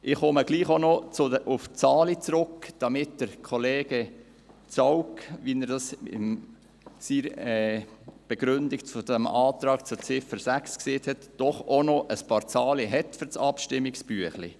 Ich komme doch auch noch auf die Zahlen zurück, damit Kollege Zaugg – wie er das in seiner Begründung zum Antrag zu Ziffer 6 gesagt hat –, doch auch noch ein paar Zahlen für das Abstimmungsbüchlein hat.